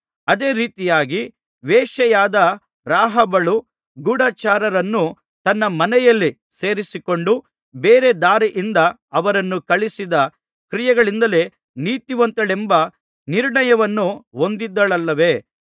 ಅದೇ ರೀತಿಯಾಗಿ ವೇಶ್ಯೆಯಾದ ರಾಹಾಬಳು ಗೂಢಚಾರರನ್ನು ತನ್ನ ಮನೆಯಲ್ಲಿ ಸೇರಿಸಿಕೊಂಡು ಬೇರೆ ದಾರಿಯಿಂದ ಅವರನ್ನು ಕಳುಹಿಸಿದ ಕ್ರಿಯೆಗಳಿಂದಲೇ ನೀತಿವಂತಳೆಂಬ ನಿರ್ಣಯವನ್ನು ಹೊಂದಿದಳಲ್ಲವೇ